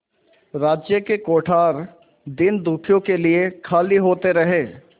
राज्य के कोठार दीनदुखियों के लिए खाली होते रहे